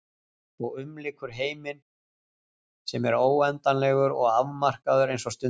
Og umlykur heiminn sem er óendanlegur og afmarkaður eins og stundin.